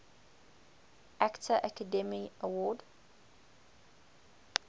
actor academy award